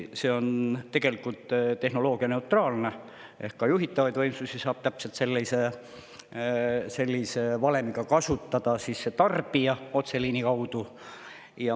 See on tegelikult tehnoloogianeutraalne ehk juhitavaid võimsusi saab täpselt sellise valemiga kasutada ka tarbija, otseliini kaudu.